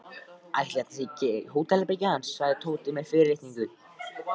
Ætli þetta sé ekki hótelherbergið hans sagði Tóti með fyrirlitningu.